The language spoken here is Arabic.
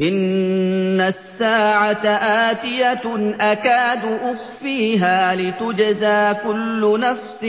إِنَّ السَّاعَةَ آتِيَةٌ أَكَادُ أُخْفِيهَا لِتُجْزَىٰ كُلُّ نَفْسٍ